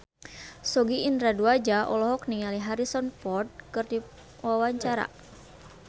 Sogi Indra Duaja olohok ningali Harrison Ford keur diwawancara